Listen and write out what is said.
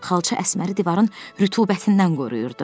Xalça Əsməri divarın rütubətindən qoruyurdu.